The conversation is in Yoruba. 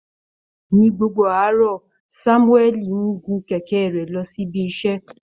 Ní gbogbo àárọ̀, Sámúẹ́lì ń gun kẹ̀kẹ́ rẹ̀ lọ síbi iṣẹ́